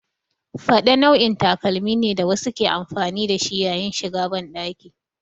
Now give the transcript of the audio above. Faɗe nau'in takalmi ne da wasu ke amfani da shi yayin shiga banɗaki.